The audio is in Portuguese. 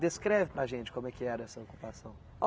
Descreve para a gente como é que era essa ocupação.